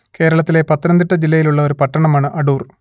കേരള ത്തിലെ പത്തനംതിട്ട ജില്ലയിലുള്ള ഒരു പട്ടണമാണ് അടൂർ